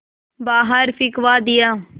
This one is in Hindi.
बाहर फिंकवा दिया